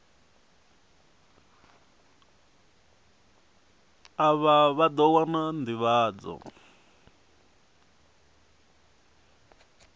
afha vha ḓo wana nḓivhadzo